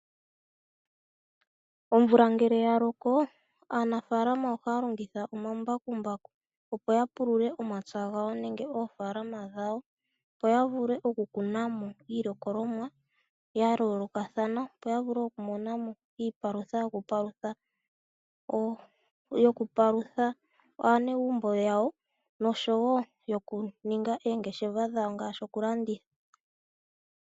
Omvula ngele ya loko, aanafalama ohaya longitha omambakumbaku opo ya pulule omapya gawo nenge oofaalama dhawo, opo ya vule okukuna mo iilikolomwa ya yoolokathana, opo ya vule okumona mo iipalutha yokupalutha aanegumbo yawo noshowo yokuninga oongeshefa dhawo ngaashi okulanditha.